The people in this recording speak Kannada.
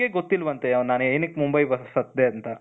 ಅವರಿಗೆ ಗೊತ್ತಿಲ್ವಂತೆ ನಾನೇನುಕ್ಕೆ ಮುಂಬೈ ಬಸತ್ತಿದೆ ಅಂತ,